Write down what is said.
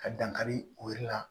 Ka dankari o yiri la